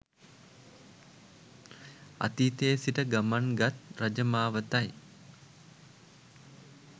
අතීතයේ සිට ගමන් ගත් රජ මාවතයි.